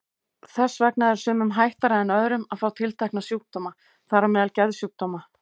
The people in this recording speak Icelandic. Þess vegna er sumum hættara en öðrum að fá tiltekna sjúkdóma, þar á meðal geðsjúkdóma.